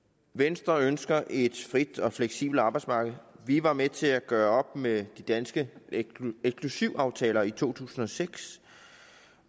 venstre ønsker et frit og fleksibelt arbejdsmarked vi var med til at gøre op med de danske eksklusivaftaler i to tusind og seks